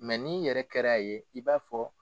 n'i yɛrɛ kɛra a ye i b'a fɔ.